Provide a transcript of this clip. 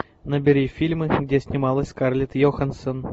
набери фильмы где снималась скарлетт йоханссон